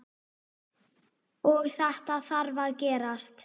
Og þetta þarf að gerast.